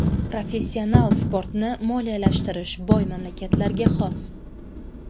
Professional sportni moliyalashtirish boy mamlakatlarga xos.